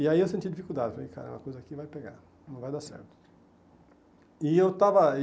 E aí eu senti dificuldade, falei, caramba, a coisa aqui vai pegar, não vai dar certo. E eu estava